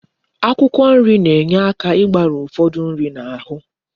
Akwụkwọ nri na enye aka igbari ufodu nri na ahu